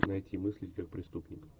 найти мыслить как преступник